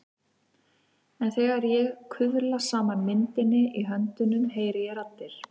En þegar ég kuðla saman myndinni í höndunum heyri ég raddir.